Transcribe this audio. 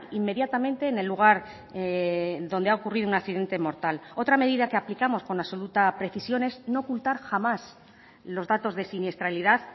inmediatamente en el lugar donde ha ocurrido un accidente mortal otra medida que aplicamos con absoluta precisión es no ocultar jamás los datos de siniestralidad